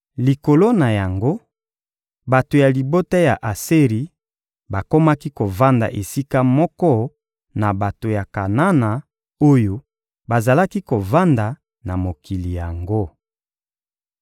Likolo na yango, bato ya libota ya Aseri bakomaki kovanda esika moko na bato ya Kanana oyo bazalaki kovanda na mokili yango.